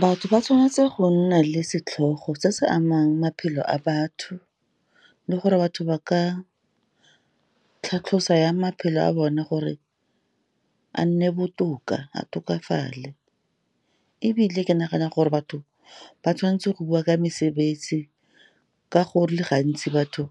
Batho ba tshwanetse go nna le setlhogo se se amang maphelo a batho, le gore batho ba ka tlhatlhosa jang maphelo a bona gore a nne botoka, a tokafale, ebile ke nagana gore batho ba tshwan'tse go bua ka mesebetsi ka gore le gantsi, batho